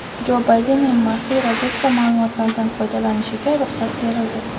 Jo Baydenning maxfiy razvedka ma’lumotlaridan foydalanishiga ruxsat berildi.